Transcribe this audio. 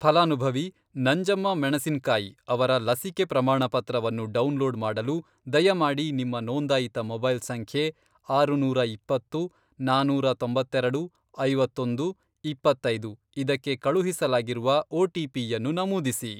ಫಲಾನುಭವಿ ನಂಜಮ್ಮ ಮೆಣಸಿನ್ಕಾಯಿ ಅವರ ಲಸಿಕೆ ಪ್ರಮಾಣಪತ್ರವನ್ನು ಡೌನ್ಲೋಡ್ ಮಾಡಲು ದಯಮಾಡಿ ನಿಮ್ಮ ನೋಂದಾಯಿತ ಮೊಬೈಲ್ ಸಂಖ್ಯೆ ,ಆರುನೂರಾ ಇಪ್ಪತ್ತು, ನಾನೂರಾ ತೊಂಬತ್ತೆರೆಡು ,ಐವತ್ತೊಂದು, ಇಪ್ಪತ್ತೈದು, ಇದಕ್ಕೆ ಕಳುಹಿಸಲಾಗಿರುವ ಒಟಿಪಿಯನ್ನು ನಮೂದಿಸಿ.